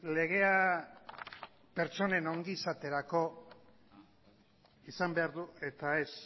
legea pertsonen ongizaterako izan behar du eta ez